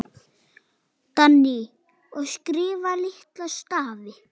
Dagný: Og skrifa litla stafi.